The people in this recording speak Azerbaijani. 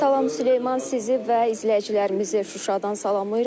Salam Süleyman, sizi və izləyicilərimizi Şuşadan salamlayırıq.